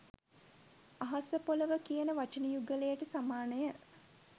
අහසපොලොව කියන වචන යුගලයට සමානය.